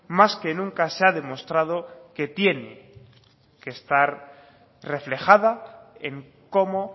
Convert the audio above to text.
más que nunca se ha demostrado que tiene que estar reflejada en cómo